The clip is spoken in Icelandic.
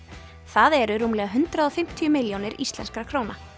það eru rúmlega hundrað og fimmtíu milljónir íslenskra króna